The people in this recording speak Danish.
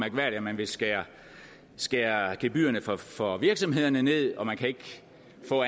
at man vil skære skære gebyrerne for virksomhederne ned og man kan ikke